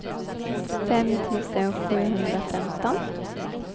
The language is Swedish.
fem tusen sjuhundrafemton